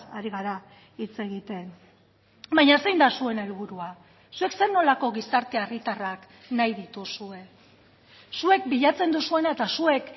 ari gara hitz egiten baina zein da zuen helburua zuek zer nolako gizarte herritarrak nahi dituzue zuek bilatzen duzuena eta zuek